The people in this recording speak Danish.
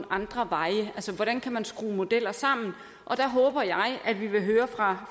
andre veje altså hvordan man kan skrue modeller sammen der håber jeg at vi vil høre fra